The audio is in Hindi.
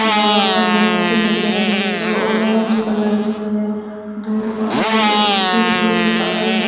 बाबा की मूर्ति नजर आई है जो ऑरेंज कलर की है भैरू बाबा की एक त्रिशूल आगे --